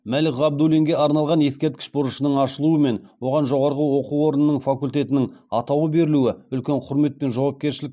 мәлік ғабдуллинге арналған ескерткіш бұрышының ашылуы мен оған жоғарғы оқу орнынан факультеттің атауы берілуі үлкен құрмет пен жауапкершілік